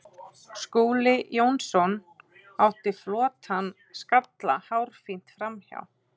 Skúli Jónsson átti flottan skalla hárfínt framhjá.